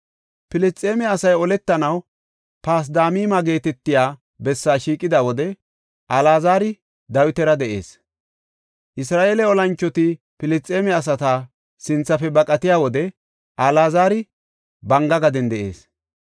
Filisxeeme asay oletanaw Pasdamima geetetiya bessaa shiiqida wode Alaazari Dawitara de7ees. Isra7eele olanchoti Filisxeeme asata sinthafe baqatiya wode Alaazari banga gaden de7ees.